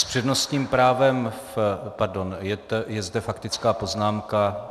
S přednostním právem, pardon - je zde faktická poznámka.